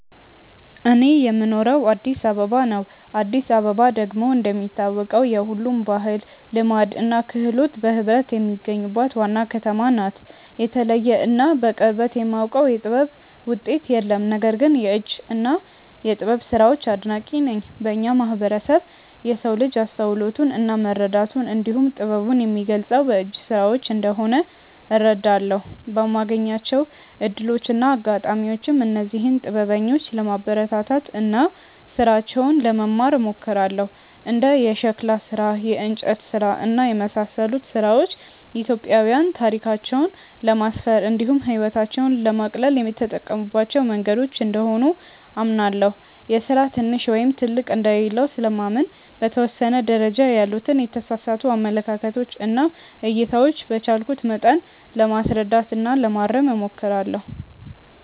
እኔ የምኖረው አዲስ አበባ ነው። አዲስ አበባ ደግሞ እንደሚታወቀው የሁሉም ባህል፣ ልማድ እና ክህሎት በህብረት የሚገኙባት ዋና ከተማ ናት። የተለየ እና በቅርበት የማውቀው የጥበብ ውጤት የለም። ነገር ግን የእጅ እና የጥበብ ስራዎች አድናቂ ነኝ። በእኛ ማህበረሰብ የሰው ልጅ አስተውሎቱን እና መረዳቱን እንዲሁም ጥበቡን የሚገልፀው በእጅ ስራዎች እንደሆነ እረዳለሁ። በማገኛቸው እድሎች እና አጋጣሚዎችም እነዚህን ጥበበኞች ለማበረታታት እና ስራቸውን ለመማር እሞክራለሁ። እንደ የሸክላ ስራ፣ የእንጨት ስራ እና የመሳሰሉት ስራዎች ኢትዮጵያዊያን ታሪካቸውን ለማስፈር እንዲሁም ህይወታቸውን ለማቅለል የተጠቀሙባቸው መንገዶች እንደሆኑ አምናለሁ። የስራ ትንሽ ወይም ትልቅ እንደሌለው ስለማምን በተወሰነ ደረጃ ያሉትን የተሳሳቱ አመለካከቶች እና እይታዎች በቻልኩት መጠን ለማስረዳት እና ለማረም እሞክራለሁ።